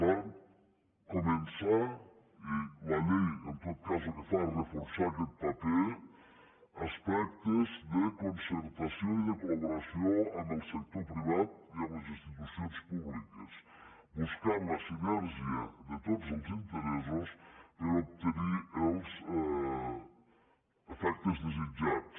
van començar i la llei en tot cas el que fa és reforçar aquest paper aspectes de concertació i de col·laboració amb el sector privat i amb les institucions públiques buscant la sinergia de tots els interessos per a obtenir els efectes desitjats